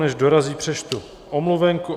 Než dorazí, přečtu omluvenku.